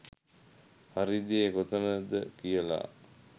හරි දේ කොතනද කියලා.